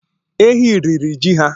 Ehi riri ji ha